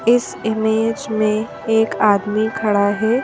इस इमेज में एक आदमी खड़ा है।